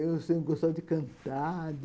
Eu sempre gostava de cantar.